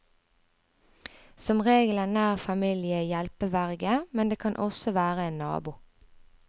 Som regel er nær familie hjelpeverge, men det kan også være en nabo.